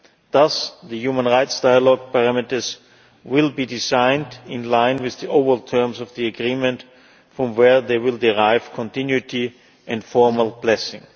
start. Thus the human rights dialogue parameters will be designed in line with the overall terms of the agreement, from where they will derive continuity and formal blessing.